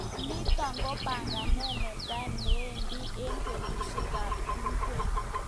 nitok ko panganet netai neindoi eng betushek ab tungwek